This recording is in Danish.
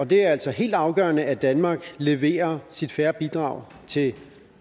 det er altså helt afgørende at danmark leverer sit fair bidrag til